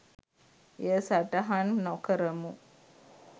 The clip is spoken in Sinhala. එය සටහන් නොකරමු